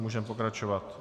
Můžeme pokračovat.